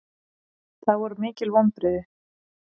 Það voru mikil vonbrigði